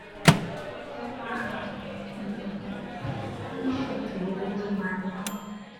ó máa um ń ṣètò owó tó máa ná